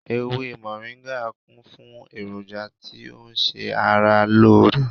Ewé moringa kún fún èròjà tí ó ń ṣe ara lóore